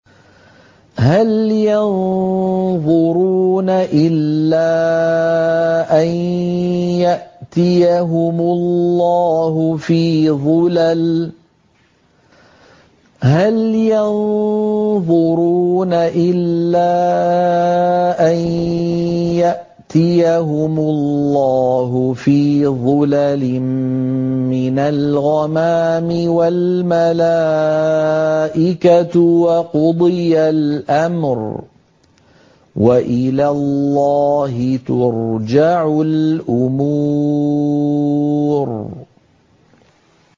هَلْ يَنظُرُونَ إِلَّا أَن يَأْتِيَهُمُ اللَّهُ فِي ظُلَلٍ مِّنَ الْغَمَامِ وَالْمَلَائِكَةُ وَقُضِيَ الْأَمْرُ ۚ وَإِلَى اللَّهِ تُرْجَعُ الْأُمُورُ